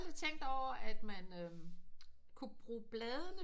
Jeg har aldrig tænkt over at man kunne bruge bladene